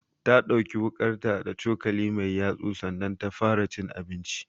Ta ɗauki wuƙarta da cokali mai yatsu sannan ta fara cin abinchi